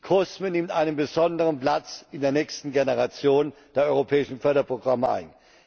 COSME nimmt einen besonderen Platz in der nächsten Generation der europäischen Förderprogramme